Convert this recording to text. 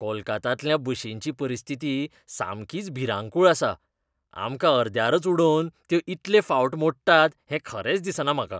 कोलकात्यांतल्या बशींची परिस्थिती सामकीच भिरांकूळ आसा! आमकां अर्द्यारच उडोवन त्यो इतले फावट मोडटात हें खरेंच दिसना म्हाका.